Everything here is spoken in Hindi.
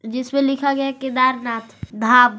जिसमें लिखा गया है केदारनाथधाम।